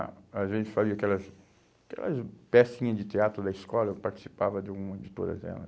Ah, às vezes fazia aquelas aquelas pecinhas de teatro da escola, eu participava de hum todas elas.